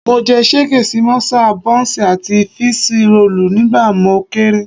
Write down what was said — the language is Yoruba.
Mo jẹ ṣégè sí mọ́sà, bọ́ǹsì àti fííṣí roòlù nígbà mo kéré